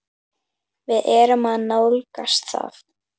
Við erum að nálgast það.